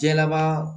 Jɛlaba